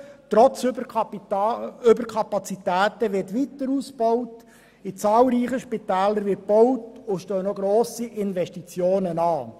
Trotz Überkapazitäten wird weiter ausgebaut, in zahlreichen Spitälern wird gebaut, und grosse Investitionen stehen noch an.